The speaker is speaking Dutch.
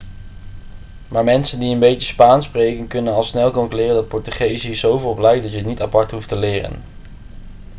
maar mensen die een beetje spaans spreken kunnen al snel concluderen dat portugees hier zoveel op lijkt dat je het niet apart hoeft te leren